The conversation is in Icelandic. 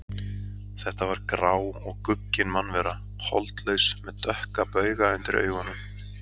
Þetta var grá og guggin mannvera, holdlaus með dökka bauga undir augunum.